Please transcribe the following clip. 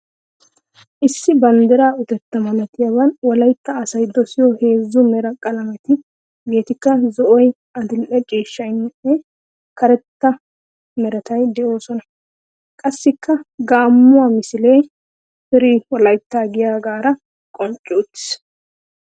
Issi banddira utettaa malattiyaaban wolaitta asay dosiyoo heezzu mera qalameti hegeettikka zo'oy, adildhdhe ciishshaanne karetta merati de'oosona. Qassikka gaammuwa misilee "free wolaita" giyagaara qonncci uttiis.